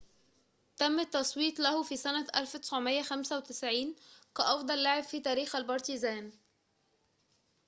تم التصويت له في سنة 1995 كأفضل لاعب في تاريخ البارتيزان